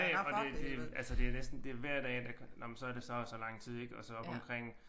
Ja ja og det det altså det er næsten det er hver dag der nåh så er det så og så lang tid ik og så oppe omkring